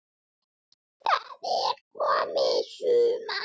Það er komið sumar.